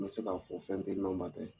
N tɛ se k'a fɔ fɛn tɛ yen n'o ma kɛ